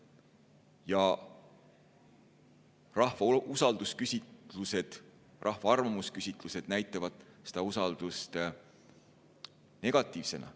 Ja rahva usalduse küsitlused, rahva arvamusküsitlused näitavad seda usaldust negatiivsena.